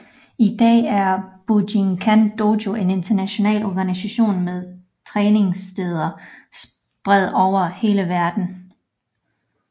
I dag er Bujinkan Dojo en international organisation med træningssteder spredt over hele verden